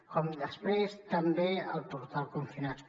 com després també el portal confinats